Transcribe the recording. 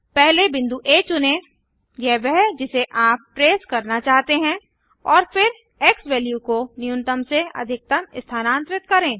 पहले बिंदु आ चुनें यह वह जिसे आप ट्रेस करना चाहते हैं और फिर एक्सवैल्यू को न्यूनतम से अधिकतम स्थानांतरित करें